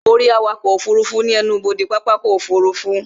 Ó rí awakọ̀ ọkọ̀ òfurufú ní ẹnubodè pápákọ̀ ọkọ̀ òfurufú